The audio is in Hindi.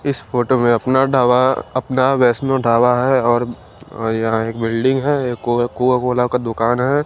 इस फोटो में अपना ढाबा अपना वैष्णो ढाबा है और यहां एक बिल्डिंग है ये एक कोका कोला का दुकान है।